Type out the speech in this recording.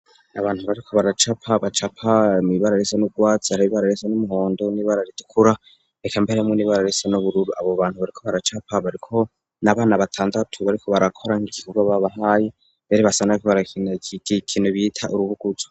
Abantu bariko baracapa, bacapa mw'ibara risa n'urwatsi, hari ibara risa n'umuhondo n'ibara ritukura, reka mbere n'ibara risa n'ubururu. Abo bantu bariko baracapa bariko ni abana batandatu bariko barakora nk'icigwa babahaye, mbere basa n'abariko barakina kimwe bita urubuguzo.